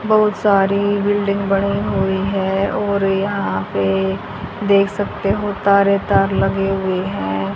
बहुत सारी बिल्डिंग बने हुए हैं और यहां पे देख सकते हो तारें तार लगी हुई हैं।